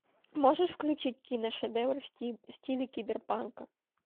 можешь включить киношедевр в стиле киберпанка